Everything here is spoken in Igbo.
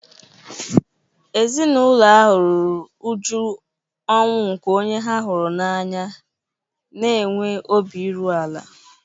Ezinụlọ ahụ ruru uju ọnwụ nke onye ha hụrụ n'anya na-enwe obi iru ala